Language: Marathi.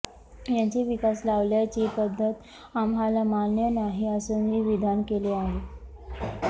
यांची विकास लावल्याची पद्धत आम्हाला मान्य नाही असंही विधान केले आहे